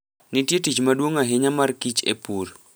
Nitie tich maduong' ahinya ma kich e pur.